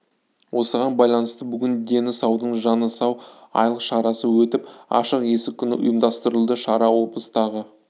осыған байланысты бүгін дені саудың жаны сау айлық шарасы өтіп ашық есік күні ұйымдастырылды шара облыстағы